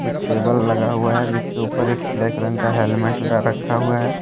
Table लगा हुआ है जिसके ऊपर एक ब्लैक रंग का हेलमेट ला रखा हुआ है।